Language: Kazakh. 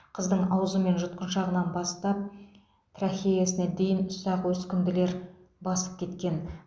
қыздың аузы мен жұтқыншағынан бастап трахеясына дейін ұсақ өскінділер басып кеткен